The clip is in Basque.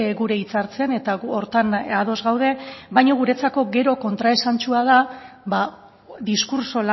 gure hitzartzean eta gu horretan ados gaude baina guretzako gero kontraesantsua da ba diskurtso